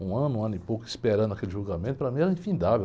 Um ano, um ano e pouco esperando aquele julgamento, para mim era infindável.